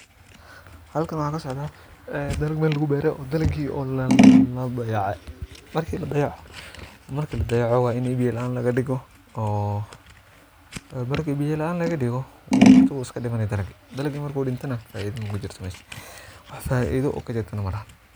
Xalkan waxaa ka socdaa ee dalag meel lagu beeray oo dalagii oo la dayacay markii la dayaco waa inay biyo laan laga dhigo oo markii biyo laan la dhigo hort u iska dhimani dalagii. Dalagii marku dhinto neh faa iido makujirto meesh ,waax faa iido kajirto neh malaha.